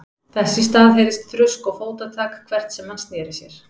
Þess í stað heyrðist þrusk og fótatak hvert sem hann sneri sér.